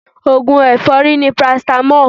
Oògùn èfọ́rí ni paracetamol.